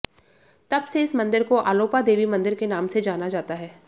तब से इस मंदिर को आलोपा देवी मंदिर के नाम से जाना जाता है